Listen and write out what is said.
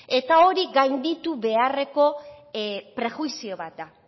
eta hori gainditu beharreko prejuizio bat da